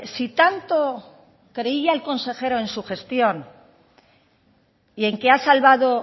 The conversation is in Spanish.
si tanto creía el consejero en su gestión y en que ha salvado